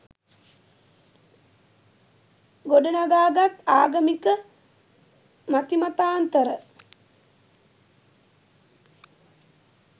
ගොඩනගාගත් ආගමික මතිමතාන්තර